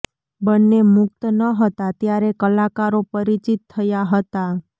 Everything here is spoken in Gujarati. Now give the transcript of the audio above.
બંને મુક્ત ન હતા ત્યારે કલાકારો પરિચિત થયા હતા